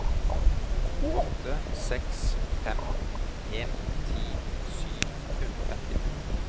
åtte seks fem en ti sju hundre og femtito